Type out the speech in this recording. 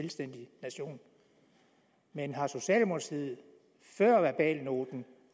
selvstændig nation men har socialdemokratiet før verbalnoten